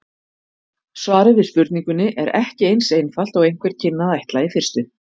Svarið við spurningunni er ekki eins einfalt og einhver kynni að ætla í fyrstu.